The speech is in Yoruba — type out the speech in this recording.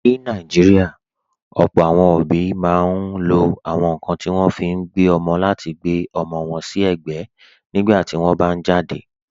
Ní Nàìjíríà, ọ̀pọ̀ àwọn òbí máa ń lo àwọn nkan tí wọ́n fi ń gbé ọmọ láti gbe ọmọ wọn si egbe nígbà tí wọ́n bá jáde.